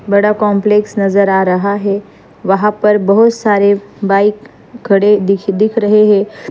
बड़ा काम्प्लेक्स नज़र आ रहा है वहा पर बहुत सारे बाइक खड़े दिख-दिख रहे है।